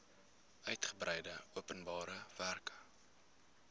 uitgebreide openbare werke